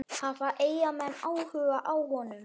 Hafa Eyjamenn áhuga á honum?